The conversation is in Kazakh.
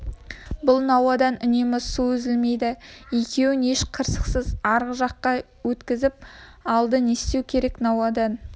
бұл науадан үнемі су үзілмейді екеуін еш қырсықсыз арғы жағаға өткізіп алды не істеу керек науадан